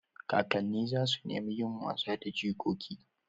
Kakanni za su nemi yin wasa da jikoki.